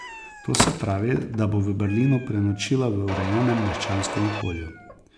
To se pravi, da bo v Berlinu prenočila v urejenem meščanskem okolju.